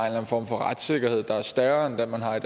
en form for retssikkerhed der er større end den man har